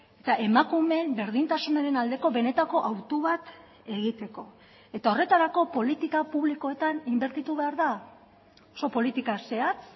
eta emakumeen berdintasunaren aldeko benetako autu bat egiteko eta horretarako politika publikoetan inbertitu behar da oso politika zehatz